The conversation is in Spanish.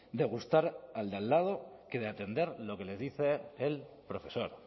de gustar al de al lado que de atender lo que les dice el profesor